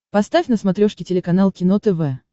поставь на смотрешке телеканал кино тв